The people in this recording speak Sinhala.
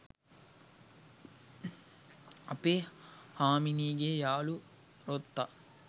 අපේ හාමිනේගේ යාළු රොත්තක්